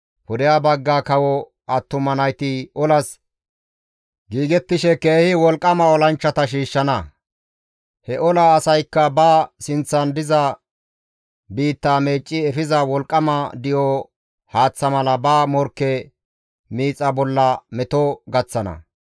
Pudeha bagga kawo attuma nayti olas giigettishe keehi wolqqama olanchchata shiishshana; he ola asaykka ba sinththan diza biitta meecci efiza wolqqama di7o haaththa mala ba morkke miixa bolla meto gaththana.